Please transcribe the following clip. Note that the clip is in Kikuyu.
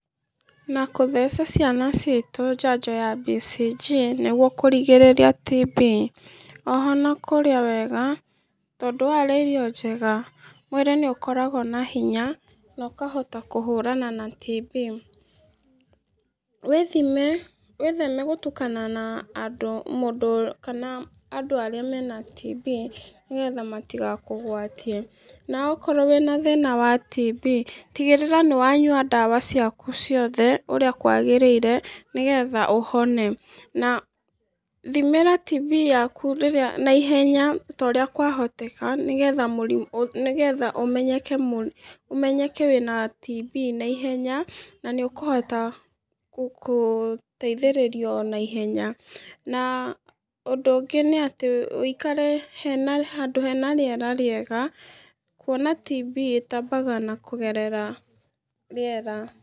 Na gũtheca ciana citũ njanjo ya BCG nĩguo kũrigĩrĩria TB. Oho na kũrĩa wega, tondũ warĩa irio njega mwĩrĩ nĩ ũkoragwo na hinya, na ũkahota kũhũrana na TB. Wĩtheme gũtukana na andũ arĩa mena TB nĩ getha matigakũgwatie. Na okorwo wĩ na thĩna wa TB, tigĩrĩra nĩ wanyua ndawa ciaku ciothe ũrĩa kwagĩrĩire, nĩ getha ũhone. Na thimĩra TB yaku na ihenya ta ũrĩa kwahoteka, nĩ getha ũmenyeke wĩna TB na ihenya, na nĩ ũkũhota gũteithĩrĩrio na ihenya. Na ũndũ ũngĩ nĩ atĩ ũikare handũ hena rĩera rĩega kwona TB ĩtambaga na kũgerera rĩera.